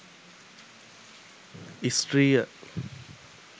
ස්ත්‍රිය